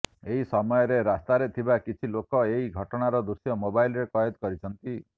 ଏହି ସମୟରେ ରାସ୍ତାରେ ଥିବା କିଛି ଲୋକ ଏହି ଘଟଣାର ଦୃଶ୍ୟ ମୋବାଇଲରେ କଏଦ କରିଛନ୍ତି